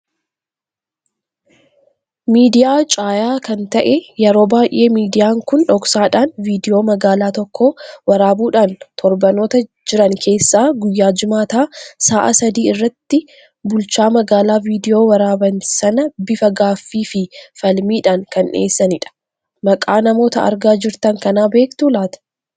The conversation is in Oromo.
Miidiyaa caayaa kan ta'eee yeroo baay'ee miidiyaan kun dhoksaaadhan viidiyoo magaala tokko waraabuudhan torbaanoota jiran keessa guyyaa jimaata sa'aa sadii irratti bulchaa magaala viidiyoo waraaban saana bifa gaaffii fii falmiidhan kan dhi'eessanidha. Maqaa namoota argaa jirtan kana beektu laata?